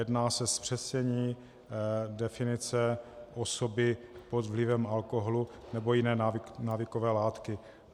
Jedná se o zpřesnění definice osoby pod vlivem alkoholu nebo jiné návykové látky.